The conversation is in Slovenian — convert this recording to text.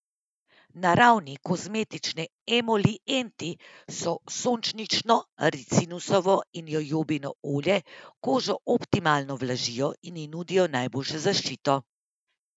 Naravni kozmetični emolienti, kot so sončnično, ricinusovo in jojobino olje kožo optimalno vlažijo in ji nudijo najboljšo zaščito.